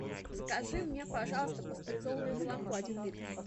закажи мне пожалуйста пастеризованное молоко один литр